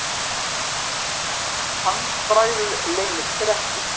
Handbragðið leynir sér ekki.